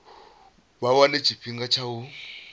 vha wane tshifhinga tsha u